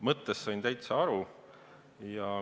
Ma sain küsimuse mõttest täitsa aru.